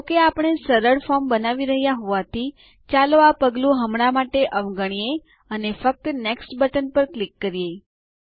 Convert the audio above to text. જો કે આપણે સરળ ફોર્મ બનાવી રહ્યા હોવાથી ચાલો આ પગલું હમણાં માટે અવગણીએ અને ફક્ત નેક્સ્ટ બટન પર ક્લિક કરીએ